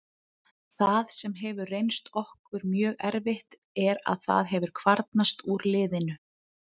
Það sem hefur reynst okkur mjög erfitt er að það hefur kvarnast úr liðinu.